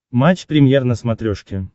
матч премьер на смотрешке